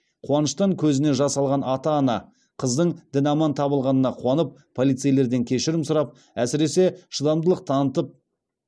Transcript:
қуаныштан көзіне жас алған ата ана қыздың дін аман табылғанына қуанып полицейлерден кешірім сұрап әсіресе шыдамдылық танытып